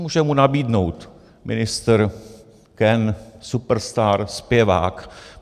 Můžu mu nabídnout - ministr, Ken, Superstar, Zpěvák.